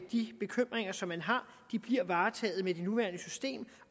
de bekymringer som man har bliver varetaget med det nuværende system